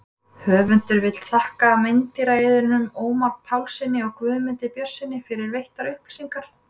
Höfundur vill þakka meindýraeyðunum Ómari Pálssyni og Guðmundi Björnssyni fyrir veittar upplýsingar.